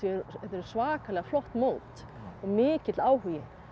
þetta eru svakalega flott mót og mikill áhugi